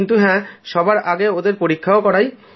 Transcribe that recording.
কিন্তু হ্যাঁ সবার আগে ওদের পরীক্ষা করাই